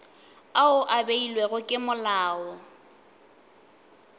ao a beilwego ke molao